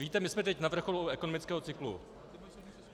Víte, my jsme teď na vrcholu ekonomického cyklu.